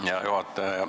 Hea juhataja!